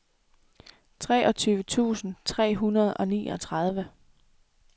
treogtyve tusind tre hundrede og niogtredive